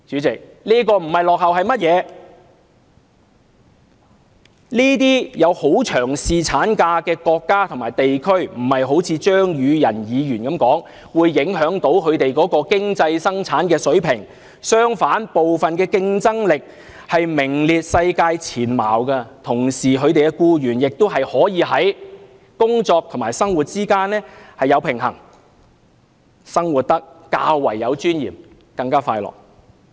這些提供很長侍產假的國家和地區，不是好像張宇人議員所說一般，會因而影響它們的經濟生產水平，相反，部分國家的競爭力還名列世界前茅，同時它們的國民也可以在工作和生活之間取得平衡，生活得較為有尊嚴，而且更加快樂。